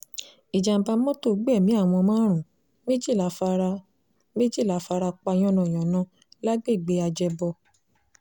ìjàḿbà mọ́tò gbẹ̀mí àwọn márùn-ún méjìlá fara méjìlá fara pa yánnayànna lágbègbè ajẹ́bọ